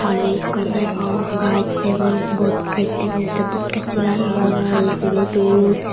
pani ikko degong gaas degong bodgas degong tey bodgassot aro rangaye pineydon.